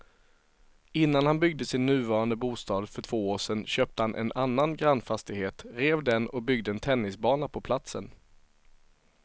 Innan han byggde sin nuvarande bostad för två år sedan köpte han en annan grannfastighet, rev den och byggde en tennisbana på platsen.